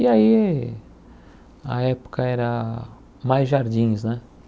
E aí, a época era mais jardins, né?